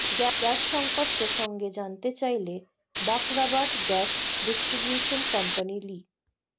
gas সঙ্কট প্রসঙ্গে জানতে চাইলে বাখরাবাদ গ্যাস ডিস্ট্রিবিউশন কোম্পানী লি